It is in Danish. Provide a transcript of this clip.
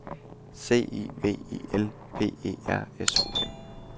C I V I L P E R S O N